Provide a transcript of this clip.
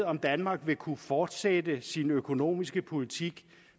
om danmark vil kunne fortsætte sin økonomiske politik